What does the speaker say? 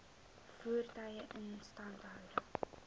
voertuie instandhouding